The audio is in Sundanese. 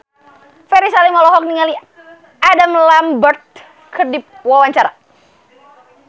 Ferry Salim olohok ningali Adam Lambert keur diwawancara